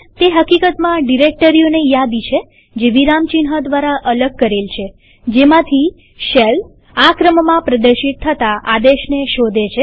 તે હકીકતમાં ડિરેક્ટરીઓની યાદી છે જે વિરામચિહ્ન દ્વારા અલગ કરેલ છેજેમાંથી શેલ આ ક્રમમાં પ્રદર્શિત થતા આદેશને શોધે છે